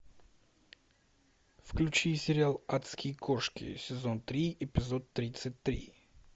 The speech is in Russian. включи сериал адские кошки сезон три эпизод тридцать три